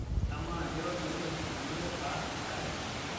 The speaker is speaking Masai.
amaa keirobi oleng tenalo aar enkare